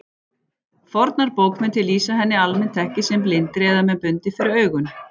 Fornar bókmenntir lýsa henni almennt ekki sem blindri eða með bundið fyrir augun.